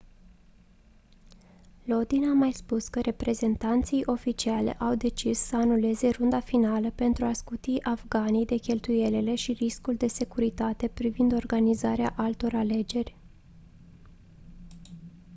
lodin a mai spus că reprezentanții oficiali au decis să anuleze runda finală pentru a scuti afganii de cheltuielile și riscul de securitate privind organizarea altor alegeri